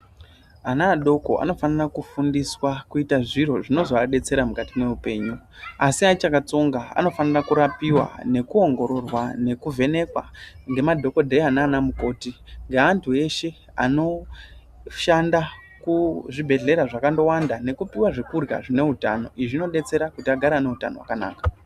Ana adoko anofanira kufundiswa kuita zviro zvinozoadetsera mwukati mweupenyu, Asi achakatsonga, anofanira kurapiwa, nekuongororwa nekuvhenekwa ngemadhokodheya nanamukoti ngeantu eshe anoshanda kuzvibhedhlera zvakandowanda, nekupiwa zvekurya zvine utano. Izvi zvinodetsera kuti agare ane utano hwakanaka.